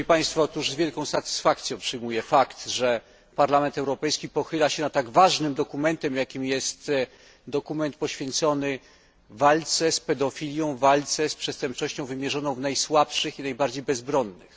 Z wielką satysfakcją przyjmuję fakt, że Parlament Europejski pochyla się nad tak ważnym dokumentem, jakim jest dokument poświęcony walce z pedofilią, walce z przestępczością wymierzoną w najsłabszych i najbardziej bezbronnych.